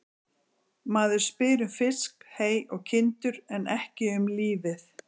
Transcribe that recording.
Maður spyr um fisk, hey og kindur en ekki um lífið.